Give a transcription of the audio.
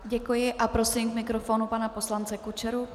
Děkuji a prosím k mikrofonu pana poslance Kučeru.